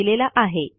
यांनी दिलेला आहे